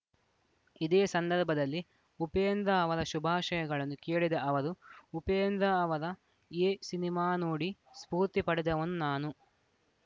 ಇದೇ ಸಂದರ್ಭದಲ್ಲಿ ಉಪೇಂದ್ರ ಅವರ ಶುಭಾಶಯಗಳನ್ನು ಕೇಳಿದ ಅವರು ಉಪೇಂದ್ರ ಅವರ ಎ ಸಿನಿಮಾ ನೋಡಿ ಸ್ಫೂರ್ತಿ ಪಡೆದವನು ನಾನು